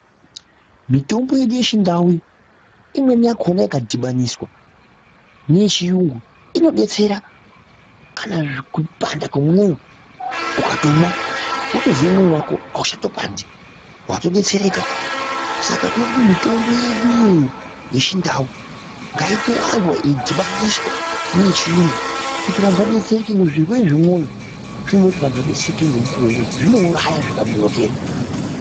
Mitombo yedu yechindau iyi imweni yakona ikadhibaniswa neyechiyungu inodetsera kana kupanda kwemoyo ukatomwa wotezwe mwoyo wako auchatopandi watodetsereka, saka todekuti mitombo yeduiyoyo yechindau ngaitowanzwa yeidhibaniswa neyechirungu kuti vanhu vadetsereke ngekuti zvirwere zvemoyo zvinode kuti antu adetserwe ngemukuwo, ngekuti zvinouraya zvikanonokerwa.